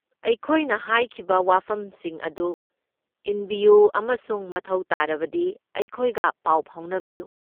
ꯑꯩꯈꯣꯏꯅ ꯍꯥꯏꯈꯤꯕ ꯋꯥꯐꯝꯁꯤꯡ ꯑꯗꯨ ꯏꯟꯕꯤꯌꯨ ꯑꯃꯁꯨꯡ ꯃꯊꯧ ꯇꯥꯔꯕꯗꯤ ꯑꯩꯈꯣꯏꯒ ꯄꯥꯎ ꯐꯥꯎꯅꯕꯤꯌꯨ꯫